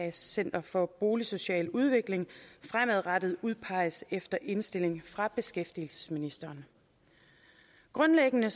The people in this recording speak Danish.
i center for boligsocial udvikling fremadrettet udpeges efter indstilling fra beskæftigelsesministeren grundlæggende